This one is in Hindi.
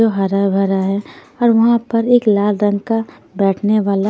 वो हरा भरा हैं और वहाँ पर एक लाल रंग का बैठने वाला--